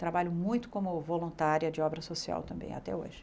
Trabalho muito como voluntária de obra social também até hoje.